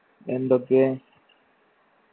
എന്തൊക്കെ